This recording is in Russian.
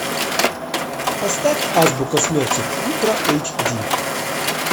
поставь азбука смерти ультра эйч ди